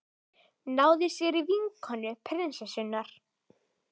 Náði sér í vinkonu prinsessunnar